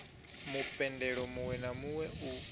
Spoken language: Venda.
mupendelo muwe na muwe u